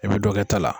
I bɛ dɔ kɛ ta la